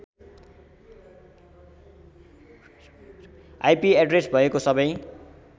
IP address भएको सबै